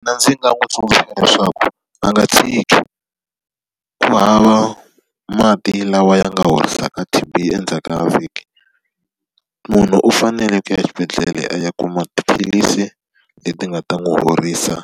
Mina ndzi nga n'wi tsundzuxa leswaku va nga tshiki. Ku hava mati lawa ya nga horisaka T_B endzhaku ka vhiki. Munhu u fanele ku ya exibedhlele a ya kuma tiphilisi leti nga ta n'wi horisa